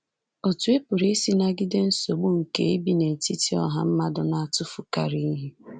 Otú ị pụrụ isi nagide nsogbu nke ibi n’etiti ọha mmadụ na-atụfukarị ihe.